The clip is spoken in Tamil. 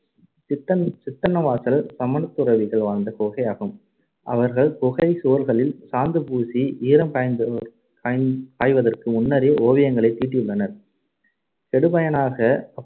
சித்தன்~ சித்தன்னவாசல் சமணத்துறவிகள் வாழ்ந்த குகையாகும். அவர்கள் குகை சுவர்களில் சாந்துபூசி, ஈரம் காய்ந்த~ காய்ந்த~ காய்வதற்கு முன்னரே ஓவியங்களைத் தீட்டியுள்ளனர். கெடுபயனாக